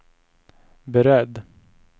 beredd